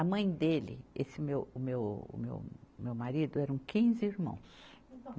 A mãe dele, esse meu, o meu, o meu, meu marido, eram quinze irmãos.